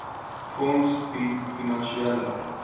fonds bied finansiële